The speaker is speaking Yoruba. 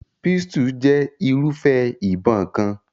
Pistol jẹ́ irúfẹ́ ìbọn kan.